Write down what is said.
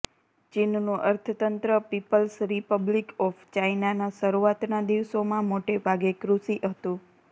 ચીનનું અર્થતંત્ર people's republic of ચાઇનાના શરૂઆતના દિવસોમાં મોટેભાગે કૃષિ હતું